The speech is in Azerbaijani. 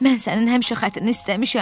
Mən sənin həmişə xətrini istəmişəm.